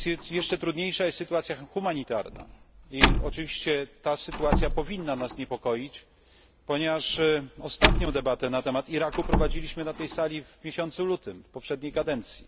Jeszcze trudniejsza jest sytuacja humanitarna i oczywiście ta sytuacja powinna nas niepokoić, ponieważ ostatnią debatę na temat Iraku prowadziliśmy na tej sali w miesiącu lutym, w poprzedniej kadencji.